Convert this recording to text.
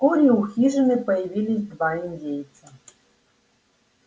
вскоре у хижины появились два индейца